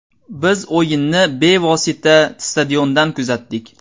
Biz o‘yinni bevosita stadiondan kuzatdik.